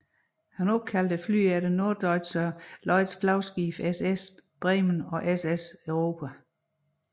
Han opkaldte flyene efter Norddeutscher Lloyds flagskibe SS Bremen og SS Europa